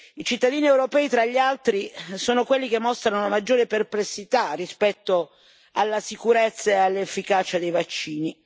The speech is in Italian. I cittadini europei, tra gli altri, sono quelli che mostrano una maggiore perplessità rispetto alla sicurezza e all'efficacia dei vaccini.